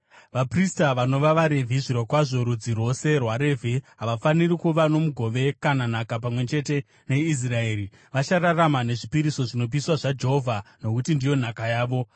Vaprista vanova vaRevhi, zvirokwazvo rudzi rwose rwaRevhi, havafaniri kuva nomugove kana nhaka pamwe chete neIsraeri. Vachararama nezvipiriso zvinopiswa zvaJehovha, nokuti ndiyo nhaka yavo.